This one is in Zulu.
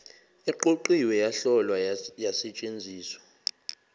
eqoqiwe yahlolwa yasetshenziswa